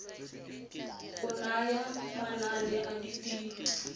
go naya manane a tirelo